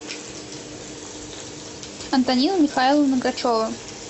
антонина михайловна гачева